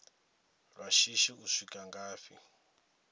lwa shishi u swika ngafhi